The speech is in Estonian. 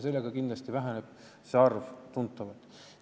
Sellega väheneb see arv kindlasti tuntavalt.